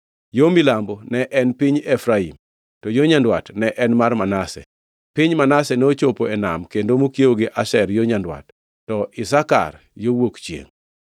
Yo milambo ne en piny Efraim, to yo nyandwat ne en mar Manase. Piny Manase nochopo e nam kendo mokiewo gi Asher yo nyandwat, to Isakar yo wuok chiengʼ.